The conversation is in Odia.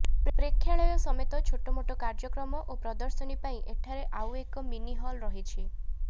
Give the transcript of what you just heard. ପ୍ରେକ୍ଷାଳୟ ସମେତ ଛୋଟମୋଟ କାର୍ଯ୍ୟକ୍ରମ ଓ ପ୍ରଦର୍ଶନୀ ପାଇଁ ଏଠାରେ ଆଉ ଏକ ମିନି ହଲ୍ ରହିଛି